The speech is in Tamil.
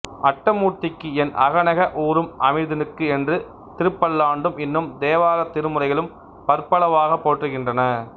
அட்டமூர்த்திக்கு என் அகநெக ஊறும் அமிழ்தினுக்கு என்று திருப்பல்லாண்டும் இன்னும் தேவாரத் திருமுறைகளும் பற்பலவாகப் போற்றுகின்றன